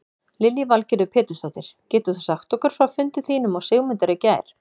Lillý Valgerður Pétursdóttir: Getur þú sagt okkur frá fundi þínum og Sigmundar í gær?